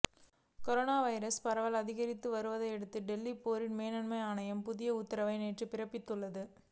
corona virus பரவல் அதிகரித்து வருவதையடுத்து டெல்லி பேரிடர் மேலாண்மை ஆணையம் புதிய உத்தரவை நேற்று பிறப்பித்துள்ளது